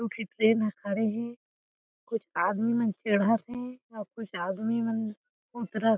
दू ठी ट्रैन ह खड़े हे कुछ आदमी मन चढ़त हे और कुछ आदमी मन उतर--